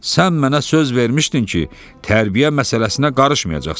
"Sən mənə söz vermişdin ki, tərbiyə məsələsinə qarışmayacaqsan.